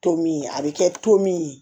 To min a bɛ kɛ to min ye